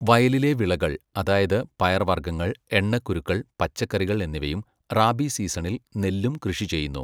വയലിലെ വിളകൾ, അതായത് പയർവർഗ്ഗങ്ങൾ, എണ്ണക്കുരുക്കൾ, പച്ചക്കറികൾ എന്നിവയും റാബി സീസണിൽ നെല്ലും കൃഷി ചെയ്യുന്നു.